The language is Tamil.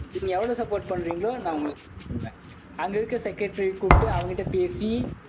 நீங்க எவ்வளவு support பண்றீங்களோ நான் உங்களுக்கு பண்ணுவேன் அங்க இருக்கிற secreatary அ கூப்பிட்டு, அவங்க கிட்ட பேசி